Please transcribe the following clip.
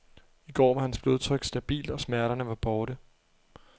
I går var hans blodtryk stabilt, og smerterne var borte.